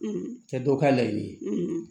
a tɛ dɔw ka laɲini ye